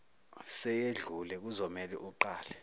seyedlule kuzomele uqale